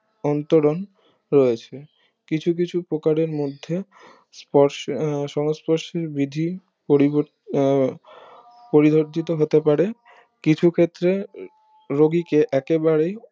অন্তরঙ্গ রয়েছে কিছু কিছু প্রকারের মধ্যে স্পর্শ সংস্পর্শ বিধি পরিবর্তিত আহ পরিধারজিত হতে পারে কিছু ক্ষেত্রে রোগীকে একেবারে